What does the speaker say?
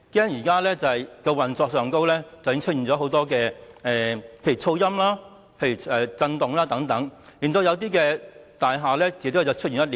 現在高鐵在運作上已出現很多問題，例如噪音、震動等，導致一些大廈的建築物出現裂縫。